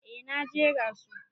Eh na jera su.